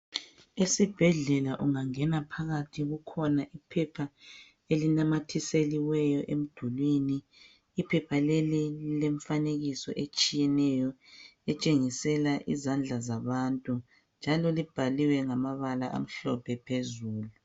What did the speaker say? Esibhedlela ungangena phakathi kukhona iphepha elinamathiseliweyo emdulini .Iphepha leli lile mfanekiso etshiyeneyo etshengisela izandla zabantu. Njalo libhaliwe ngamabala amhlophe phezulu.